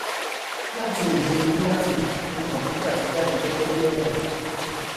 láti èdè latin ni computer ti jáde gẹgẹ bí ọrọ